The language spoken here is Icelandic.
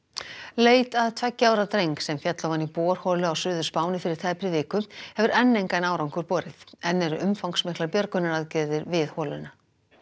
leit að tveggja ára dreng sem féll ofan í borholu á Suður Spáni fyrir tæpri viku hefur enn engan árangur borið enn eru umfangsmiklar björgunaraðgerðir við holuna